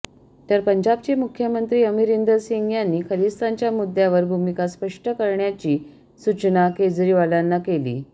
तर पंजाबचे मुख्यमंत्री अमरिंदर सिंग यांनी खलिस्तानच्या मुद्यावर भूमिका स्पष्ट करण्याची सूचना केजरीवालांना केली